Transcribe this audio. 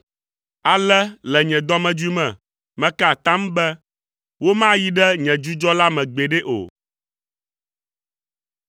Ale le nye dɔmedzoe me, meka atam be, “Womayi ɖe nye dzudzɔ la me gbeɖe o.”